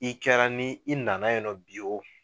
I kɛra ni i nana yen nɔ bi o